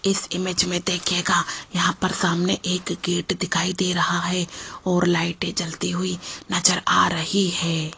इस इमेज में देखिएगा यहां पर सामने एक गेट दिखाई दे रही है और लाइटे जलती रही है।